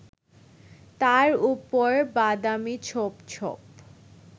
তার উপর বাদামি ছোপ ছোপ